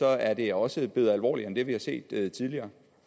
er det også blevet alvorligere end det vi har set tidligere